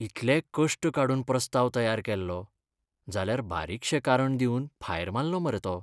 इतले कश्ट काडून प्रस्ताव तयार केल्लो, जाल्यार बारीकशें कारण दिवन भायर मारलो मरे तो!